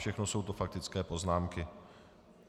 Všechno jsou to faktické poznámky.